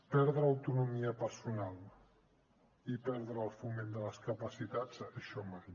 perdre autonomia personal i perdre el foment de les capacitats això mai